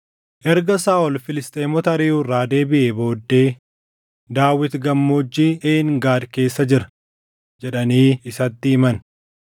Erga Saaʼol Filisxeemota ariʼuu irraa deebiʼee booddee, “Daawit Gammoojjii Een Gaad keessa jira” jedhanii isatti himan.